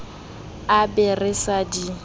a be re sa di